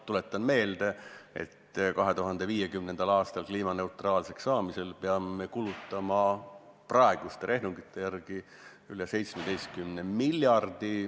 Tuletan meelde, et 2050. aastal kliimaneutraalsuse saavutamiseks peame kulutama praeguste rehnungite järgi üle 17 miljardi.